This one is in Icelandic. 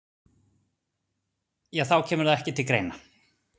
Þá kemur það ekki til greina